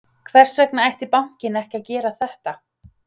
Hvers vegna ætti bankinn ekki að gera þetta?